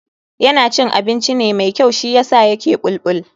Yana cin abinci ne mai kyau shiyasa yake bulbul.